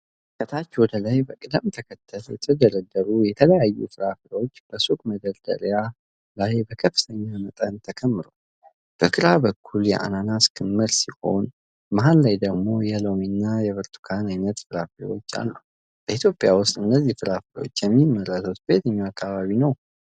ከታች ወደ ላይ በቅደም ተከተል የተደረደሩ የተለያዩ ፍራፍሬዎች በሱቅ መደርደሪያ ላይ በከፍተኛ መጠን ተከምረዋል፤ በግራ በኩል የአናናስ ክምር ሲሆን፣ መሃል ላይ ደግሞ የሎሚና የብርቱካን ዓይነት ፍራፍሬዎች አሉ። በኢትዮጵያ ውስጥ እነዚህ ፍራፍሬዎች የሚመረቱት በየትኞቹ አካባቢዎች ነው?